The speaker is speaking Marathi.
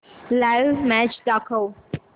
लाइव्ह मॅच दाखव